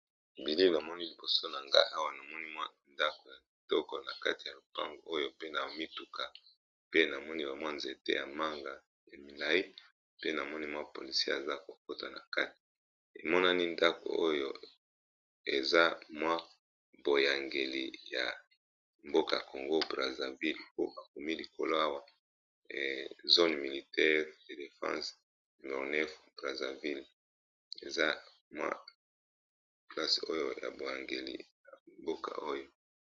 Bilili na moni liboso na ngai awa namoni mwa ndako ya kitoko na kati ya lopango oyo pe na mituka pe na moni ba mwa nzete ya manga ya milai pe na moni mwa polisie aza kokota na kati emonani ndako oyo eza mwa boyangeli ya mboka congo braseville po akomi likolo awa zone militaire de defense nonanef praseville eza mwa plase oyo ya boyangeli ya mboka oyo.